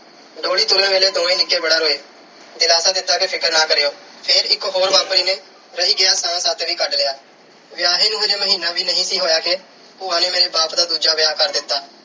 ਡੋਲੀ ਤੁਰਨ ਲੱਗੇ ਦੋਵੇਂ ਨਿੱਕੇ ਬੜਾ ਰੋਏ। ਦਿਲਾਸਾ ਦਿੱਤਾ ਕਿ ਫ਼ਿਕਰ ਨਾ ਕਰਿਓ। ਫਿਰ ਇਕ ਹੋਰ ਨੇ ਰਹਿ ਗਿਆ ਸਾਹ ਤੱਕ ਵੀ ਕੱਢ ਲਿਆ। ਵਿਆਹੇੀਨੂੰ ਅਜੇ ਮਹੀਨਾ ਵੀ ਨਹੀਂ ਸੀ ਹੋਇਆ ਕਿ ਭੂਆ ਨੇ ਮੇਰੇ ਬਾਪ ਦਾ ਦੂਜਾ ਵਿਆਹ ਕਰ ਦਿੱਤਾ।